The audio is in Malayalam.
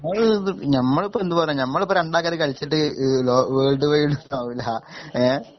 ഞമ്മള്പ്പെന്ത് പറ ഞമ്മള്പ്പൊ രണ്ടാക്കാര് കൾച്ചിട്ട് ഈ ലോ വേൾഡ് വൈടൊന്നു ആവൂല ഏ